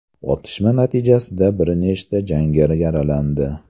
Otishma natijasida bir nechta jangari yaralandi.